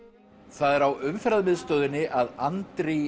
það er á Umferðarmiðstöðinni að Andri í